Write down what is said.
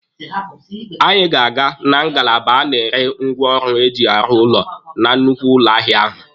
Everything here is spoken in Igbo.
Anyị ga-aga na ngalaba a na-ere ngwaọrụ eji arụ ụlọ na nnukwu ụlọ ahịa ahụ.